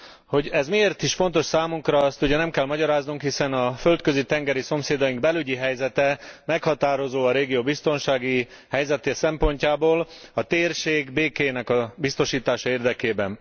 Hogy ez miért is fontos számunkra, azt ugye nem kell magyaráznunk, hiszen a földközi tengeri szomszédaink belügyi helyzete meghatározó a régió biztonsági helyzete szempontjából a térség békéjének a biztosítása érdekében.